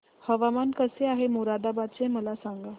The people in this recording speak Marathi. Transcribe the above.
हवामान कसे आहे मोरादाबाद चे मला सांगा